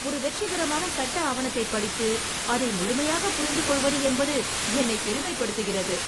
ஒரு வெற்றிகரமான சட்ட ஆவணத்தைப் படித்து அதை முழுமையாகப் புரிந்துகொள்வது என்பது என்னைப் பெருமைப்படுத்துகிறது.